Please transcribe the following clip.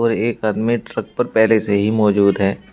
और एक आदमी ट्रक पर पहले से ही मौजूद है।